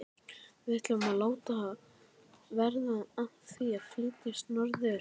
Við ætlum að láta verða af því að flytjast norður.